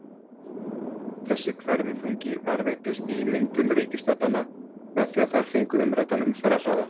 Þessi hverfiþungi varðveittist í myndun reikistjarnanna með því að þær fengu umræddan umferðarhraða.